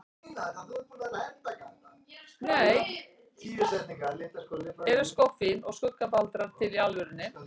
Eru skoffín og skuggabaldrar til í alvörunni?